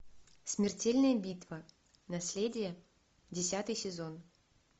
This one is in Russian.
смертельная битва наследие десятый сезон